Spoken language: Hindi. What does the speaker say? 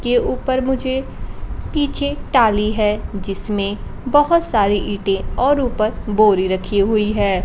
के ऊपर मुझे पीछे टाली है जिसमें बहोत सारी ईंटे और ऊपर बोरी रखी हुई है।